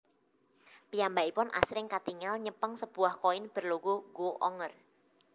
Piyambakipun asring katingal nyepeng sebuah koin berlogo Go Onger